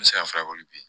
N bɛ se ka fura k'olu ye